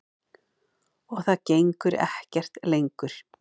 Og það gengur ekkert lengur.